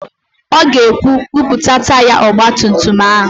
Ọ ga-ekwu, "buputa taya ọgbatumtum áhụ̀